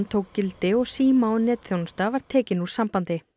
tók gildi og síma og netþjónusta var tekin úr sambandi